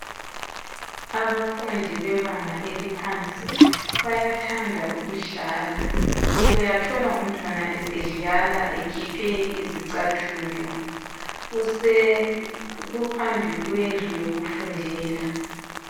Abafundi bebanga eliphansi bayathanda ukudlala. Uyathola umntwana esedlala ekhiphe izicathulo. Kuphambi kwendlu yokufundela.